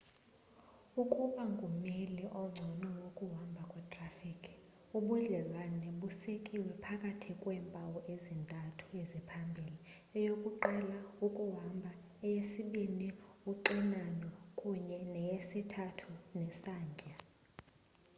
ukuba ngumeli ongcono wokuhamba kwetrafikhi ubudlelwane busekiwe phakathi kweempawu ezintathu eziphambili: 1 ukuhamba 2 uxinano kunye 3 nesantya